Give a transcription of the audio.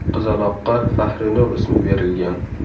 Qizaloqqa Fahrinur ismi berilgan.